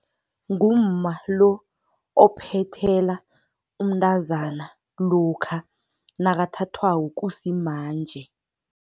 Ngumma lo ophethela umntazana lokha nakathathwako kusimanje.